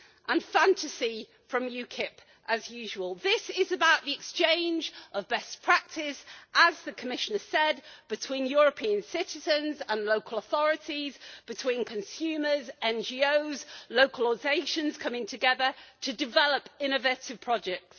And fantasy from UKIP as usual. This is about the exchange of best practice as the Commissioner said between European citizens and local authorities, between consumers, NGOs, and local organisations coming together to develop innovative projects.